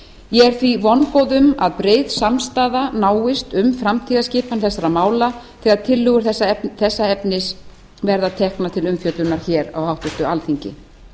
ég er því vongóð um að breið samstaða náist um framtíðarskipan þessara mála þegar tillögur þessa efnis verða teknar til umfjöllunar hér á alþingi